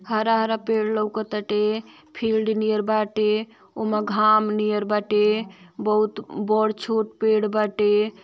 हारा-हारा पेड़ लउक ताटे। फील्ड नियर बाटे उमा घाम नियर बाटे बहुत बड़ छोट पेड़ बाटे।